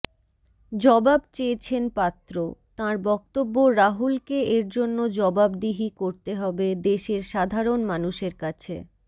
জবাব চেয়েছেন পাত্র তাঁর বক্তব্য রাহুলকে এরজন্য জবাবদিহি করতে হবে দেশের সাধারণ মানুষের কাছে